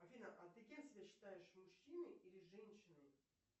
афина а ты кем себя считаешь мужчиной или женщиной